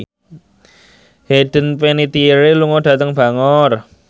Hayden Panettiere lunga dhateng Bangor